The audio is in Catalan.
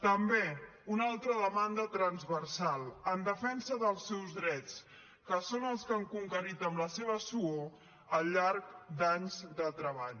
també una altra demanda transversal en defensa dels seus drets que són els que han conquerit amb la seva suor al llarg d’anys de treball